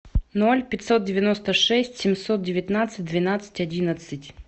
ноль пятьсот девяносто шесть семьсот девятнадцать двенадцать одиннадцать